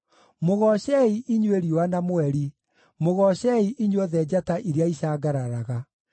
Mũgoocei, inyuĩ riũa na mweri, mũgoocei, inyuothe njata iria icangararaga.